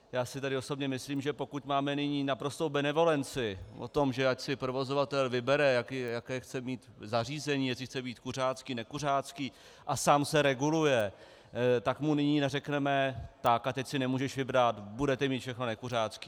Já si tedy osobně myslím, že pokud máme nyní naprostou benevolenci o tom, že ať si provozovatel vybere, jaké chce mít zařízení, jestli chce být kuřácký, nekuřácký, a sám se reguluje, tak mu nyní neřekneme: Tak, a teď si nemůžeš vybrat, budete mít všechno nekuřácké.